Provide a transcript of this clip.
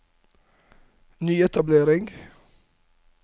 nyetablering